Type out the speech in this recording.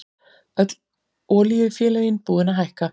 Öll olíufélögin búin að hækka